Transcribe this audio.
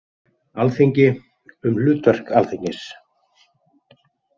Alþingi- Um hlutverk Alþingis.